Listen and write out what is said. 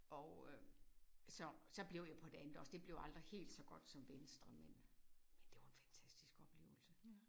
Og øh så så blev jeg på det andet også det blev aldrig helt så godt som venstre men ja det var en fantastisk oplevelse